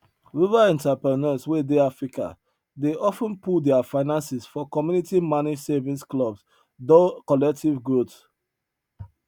rural entrepreneurs wey dey africa dey of ten pull their finances for community managed savings clubs dor collective growth